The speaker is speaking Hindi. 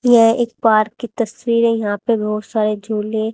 यह एक पार्क की तस्वीर है यहां पे बहुत सारे झूले--